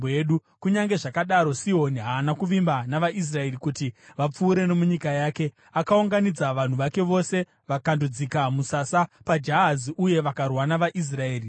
Kunyange zvakadaro, Sihoni haana kuvimba navaIsraeri kuti vapfuure nomunyika yake. Akaunganidza vanhu vake vose vakandodzika musasa paJahazi uye vakarwa navaIsraeri.